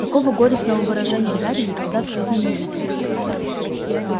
такого горестного выражения гарри никогда в жизни не видел